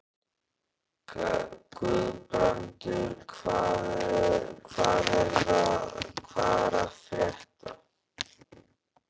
Guðbrandur, hvað er að frétta?